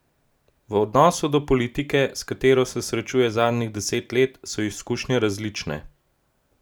V odnosu do politike, s katero se srečuje zadnjih deset let, so izkušnje različne.